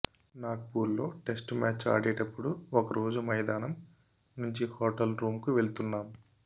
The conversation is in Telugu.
నాగ్పూర్లో టెస్టు మ్యాచ్ ఆడేటప్పుడు ఒక రోజు మైదానం నుంచి హోటల్ రూంకు వెళుతున్నాం